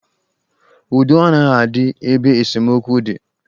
Udo anaghị adị ebe esemokwu dị.